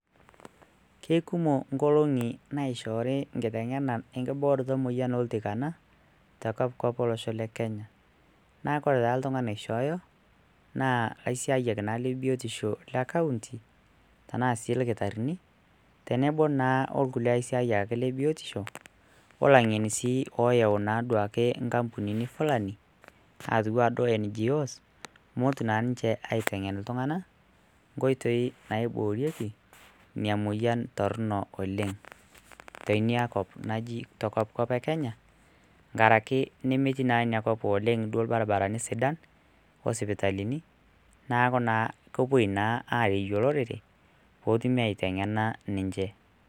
Kekumo inkolongi naishori nkingena ankibooroto emoyian oltikana te kopkop elosho le kenya ,naaku kore taa ltungani loishooyo, naa laisiayak naa le biotisho le kaunti tenaa si lkitarini tenebo naa olkule laisiayak le biotisho olaing'eni sii ooyau naa duake nkampunini fulani atuaa duo NGOs meotu naa ninche aitengen ltungana nkoitei naiboorieki ina emoyian torrono oleng tenia kop najii te kopkop ekenya ngaraki nemetii naa ina kop oleng duo ilbaribarani sidan oo sipitalini, naaku naa kepoi naa aareiyo lorere peetumi aiteng'ena ninche.